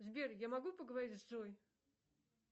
сбер я могу поговорить с джой